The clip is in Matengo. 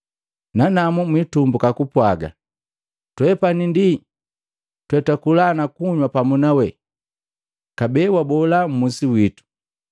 Nanamu mwitumbuka kupwaga, ‘Twepani ndi twetwakula na kunywa pamu nawe, kabee wabola mmusi witu!’